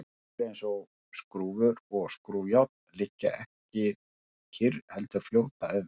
hlutir eins og skrúfur og skrúfjárn liggja ekki kyrr heldur fljóta um